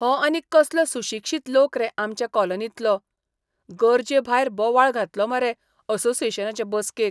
हो आनीक कसलो सुशिक्षीत लोक रे आमचे कॉलनींतलो. गरजेभायर बोवाळ घातलो मरे असोसियेशनाचे बसकेक!